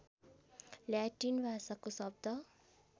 Latin भाषाको शब्द